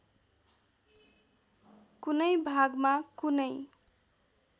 कुनै भागमा कुनै